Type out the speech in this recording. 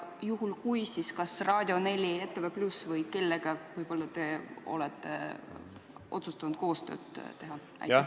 Ja juhul kui plaanite, siis kellega te olete otsustanud koostööd teha – kas Raadio 4, ETV+ või kellegi teisega?